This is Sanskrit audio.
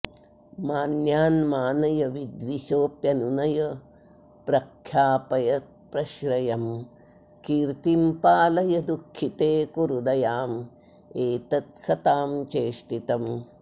मान्यान् मानय विद्विषोऽप्यनुनय प्रख्यापय प्रश्रयं कीर्तिं पालय दुःखिते कुरु दयामेतत् सतां चेष्टितम्